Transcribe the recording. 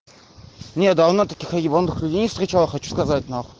не давно таких ебанутых людей не встречал хочу сказать наху